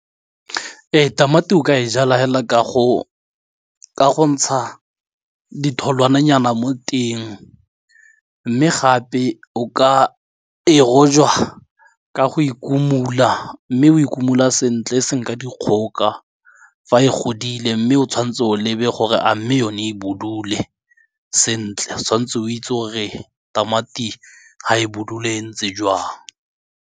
Ee tamati o ka e jala fela ka go ntsha ditholwananyana mo teng mme gape o ka e rojwa ka go ikomula mme o ikomul sentle se nka dikgoka fa e godile mme o tshwanetse o lebe gore a mme yone e budule sentle tshwanetse o itse gore tamati ga e budule e ntse jwang.